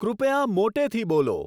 કૃપયા મોટેથી બોલો